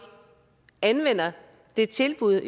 anvender de tilbud